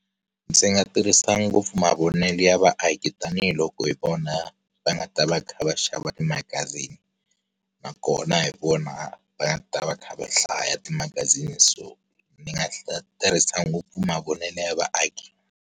Ndzi nga tirhisa ngopfu mavonelo ya vaaki tanihiloko hi vona, va nga ta va kha va xava timagazini. Nakona hi vona va nga ta va kha va hlaya timagazini so ni nga tirhisa ngopfu mavonelo ya vaaki.